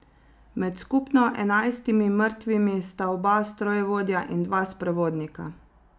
Med skupno enajstimi mrtvimi sta oba strojevodja in dva sprevodnika.